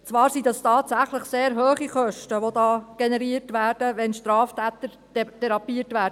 Es mag sein, dass tatsächlich sehr hohe Kosten generiert werden, wenn Straftäter therapiert werden.